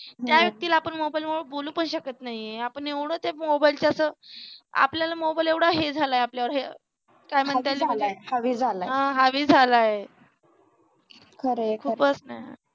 त्या व्यक्तीला आपण मोबाइल मूळ बोलू पण शकत नाहीये आपण एवढं त्या मोबाइल च्या असं आपल्याला मोबाइल एवढा हे झालाय आपल्यावर काय म्हणतात ते हा हावी झालाय खूपच ना